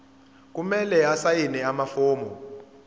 kumele asayine amafomu